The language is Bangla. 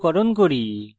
সংক্ষিপ্তকরণ করি